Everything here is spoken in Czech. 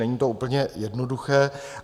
Není to úplně jednoduché.